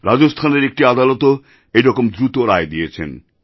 রাজস্থানের একটি আদালতও এরকম দ্রুত রায় দিয়েছেন